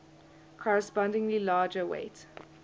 correspondingly larger weight